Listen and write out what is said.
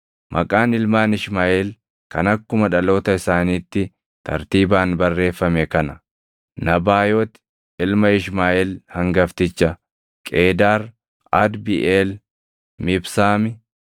Maqaan ilmaan Ishmaaʼeel kan akkuma dhaloota isaaniitti tartiibaan barreeffame kana: Nabaayooti ilma Ishmaaʼeel hangafticha, Qeedaar, Adbiʼeel, Mibsaami,